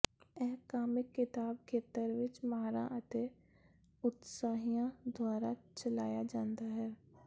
ਇਹ ਕਾਮਿਕ ਕਿਤਾਬ ਖੇਤਰ ਵਿਚ ਮਾਹਰਾਂ ਅਤੇ ਉਤਸ਼ਾਹਿਆਂ ਦੁਆਰਾ ਚਲਾਇਆ ਜਾਂਦਾ ਹੈ